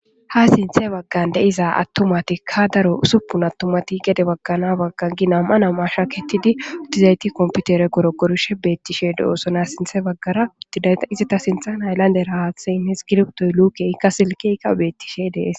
Ha sinthe baggan deiza attumatikka daro usuppun attumati gede baggana baggan gi nam'a nama shaketidi uttizayti komputere goro gorishe beettishe do'oosona sinthe baggara uttidayta izita sintha ayllande rahaathe inhis giriptoy luuke ikka silkekka beettishe dees.